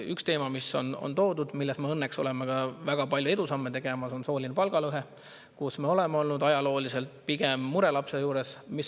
Üks teema, mis on välja toodud, aga milles me õnneks oleme ka väga palju edusamme tegemas, on sooline palgalõhe, kus me oleme olnud ajalooliselt pigem murelaps.